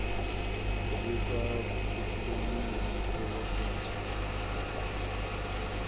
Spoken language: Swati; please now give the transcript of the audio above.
kubika kuhlukunyetwa kwebantfu